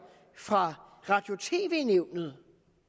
fra radio og tv nævnet